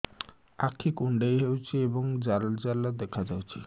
ଆଖି କୁଣ୍ଡେଇ ହେଉଛି ଏବଂ ଜାଲ ଜାଲ ଦେଖାଯାଉଛି